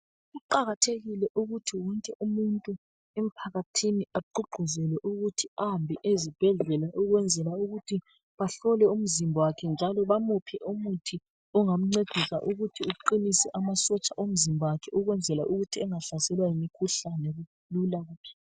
Kuqakathekile ukuthi ngithi umuntu emphakathini agqugquzeke ukuthi ahambe ezibhedlela ukwenzela ukuthi bahlole umzimba wakhe njalo bamuphe umuthi ongamncedisa ukuthi uqinise amasotsha omzimba wakhe ukwenzela ukuthi angahlaselwa yimkhuhlani lula.